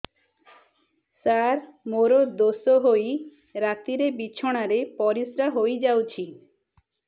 ସାର ମୋର ଦୋଷ ହୋଇ ରାତିରେ ବିଛଣାରେ ପରିସ୍ରା ହୋଇ ଯାଉଛି